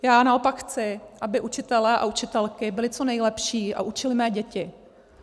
Já naopak chci, aby učitelé a učitelky byli co nejlepší a učili mé děti.